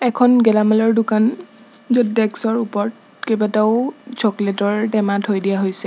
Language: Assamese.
এখন গেলামালৰ দোকান য'ত চকলেট ৰ টেমা থৈ দিয়া হৈছে।